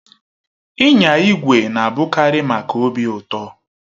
Ịnya igwe na-abụkarị maka obi ụtọ